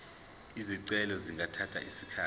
izicelo zingathatha isikhathi